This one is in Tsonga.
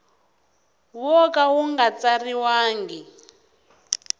wo ka wu nga tsariwangi